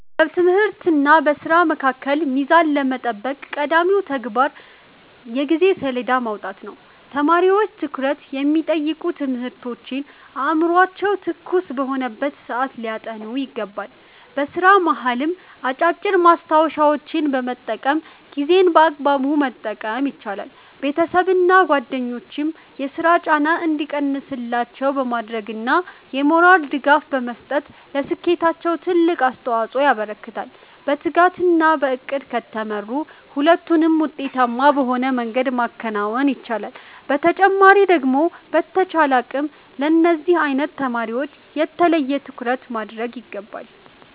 በትምህርትና በሥራ መካከል ሚዛን ለመጠበቅ ቀዳሚው ተግባር የጊዜ ሰሌዳ ማውጣት ነው። ተማሪዎች ትኩረት የሚጠይቁ ትምህርቶችን አእምሯቸው ትኩስ በሆነበት ሰዓት ሊያጠኑ ይገባል። በሥራ መሃልም አጫጭር ማስታወሻዎችን በመጠቀም ጊዜን በአግባቡ መጠቀም ይቻላል። ቤተሰብና ጓደኞችም የሥራ ጫና እንዲቀንስላቸው በማድረግና የሞራል ድጋፍ በመስጠት ለስኬታቸው ትልቅ አስተዋፅኦ ያበረክታሉ። በትጋትና በዕቅድ ከተመሩ ሁለቱንም ውጤታማ በሆነ መንገድ ማከናወን ይቻላል። በተጨማሪ ደግሞ በተቻለን አቅም ለነዚህ አይነት ተማሪወች የተለየ ትኩረት ማድረግ ይገባናል።